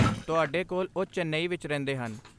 ਤੁਹਾਡੇ ਕੋਲ, ਉਹ ਚੇਨਈ ਵਿੱਚ ਰਹਿੰਦੇ ਹਨ।